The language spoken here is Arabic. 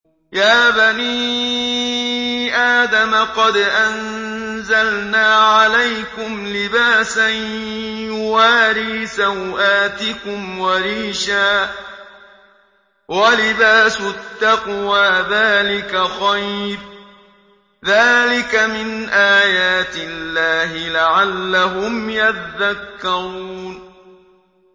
يَا بَنِي آدَمَ قَدْ أَنزَلْنَا عَلَيْكُمْ لِبَاسًا يُوَارِي سَوْآتِكُمْ وَرِيشًا ۖ وَلِبَاسُ التَّقْوَىٰ ذَٰلِكَ خَيْرٌ ۚ ذَٰلِكَ مِنْ آيَاتِ اللَّهِ لَعَلَّهُمْ يَذَّكَّرُونَ